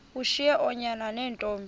ushiye oonyana neentombi